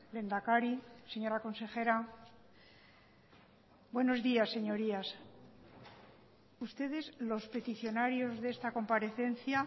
lehendakari señora consejera buenos días señorías ustedes los peticionarios de esta comparecencia